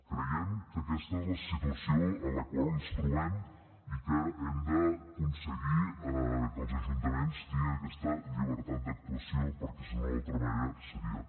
creiem que aquesta és la situació en la qual ens trobem i que hem d’aconseguir que els ajuntaments tinguin aquesta llibertat d’actuació perquè si no d’altra manera seria